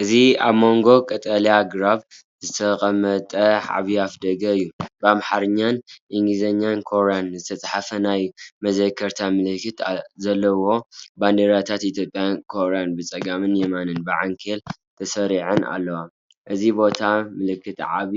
እዚ ኣብ መንጎ ቀጠልያ ኣግራብ ዝተቐመጠ ዓቢ ኣፍደገ እዩ፣ ብኣምሓርኛ፣ እንግሊዝኛን ኮርያኛን ዝተጻሕፈ ናይ መዘከርታ ምልክት ዘለዎ። ባንዴራታት ኢትዮጵያን ኮርያን ብጸጋምን የማንን ብዓንኬል ተሰሪዐን ኣለዋ። እዚ ቦታ ምልክት ዓቢ